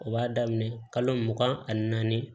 O b'a daminɛ kalo mugan ani naani